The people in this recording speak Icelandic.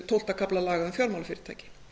tólfta kafla laga um fjármálafyrirtæki